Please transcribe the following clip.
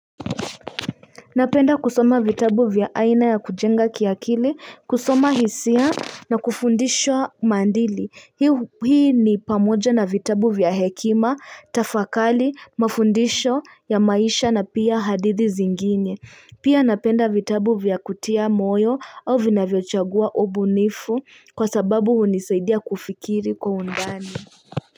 Napenda kusoma vitabu vya aina ya kujenga kiakili, kusoma hisia na kufundishwa maandili. Hii ni pamoja na vitabu vya hekima, tafakali, mafundisho ya maisha na pia hadithi zingine. Pia napenda vitabu vya kutia moyo au vinavyochagua obunifu kwa sababu hunisaidia kufikiri kwa undani.